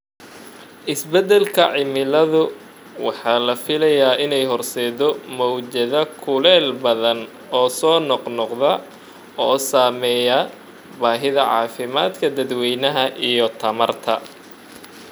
Isbeddelka cimiladu waxa la filayaa inay horseeddo mowjado kulayl badan oo soo noqnoqda, oo saameeya baahida caafimaadka dadweynaha iyo tamarta.